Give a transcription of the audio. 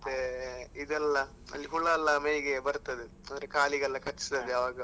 ಮತ್ತೆ, ಇದೆಲ್ಲ ಅಲ್ಲಿ ಹುಳ ಎಲ್ಲ ಮೈಗೆ ಬರ್ತದೆ ಅಂದ್ರೆ ಕಾಲಿಗೆಲ್ಲ ಕಚ್ತದೆ ಆಗ.